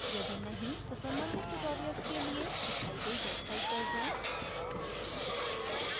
यदि नहीं तो कृपया संबंधित tutorials के लिए दिखाई गई website पर जाएँ